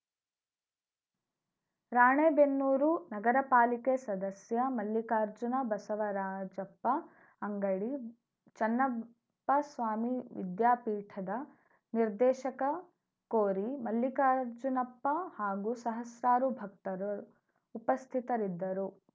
ರಾಣೇಬೆನ್ನೂರು ನಗರಪಾಲಿಕೆ ಸದಸ್ಯ ಮಲ್ಲಿಕಾರ್ಜುನ ಬಸವರಾಜಪ್ಪ ಅಂಗಡಿ ಚನ್ನಪ್ಪಸ್ವಾಮಿ ವಿದ್ಯಾಪೀಠದ ನಿರ್ದೇಶಕ ಕೋರಿ ಮಲ್ಲಿಕಾರ್ಜುನಪ್ಪ ಹಾಗೂ ಸಹಸ್ರಾರು ಭಕ್ತರು ಉಪಸ್ಥಿತರಿದ್ದರು